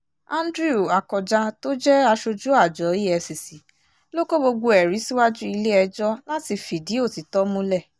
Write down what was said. andrew akọjá tó jẹ́ aṣojú àjọ efcc ló kó gbogbo ẹ̀rí síwájú ilé-ẹjọ́ láti fìdí òtítọ́ múlẹ̀